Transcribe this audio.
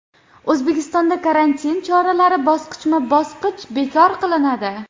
O‘zbekistonda karantin choralari bosqichma-bosqich bekor qilinadi.